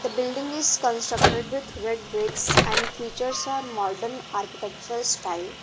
building is constructed with red bricks and features are modern architectural style.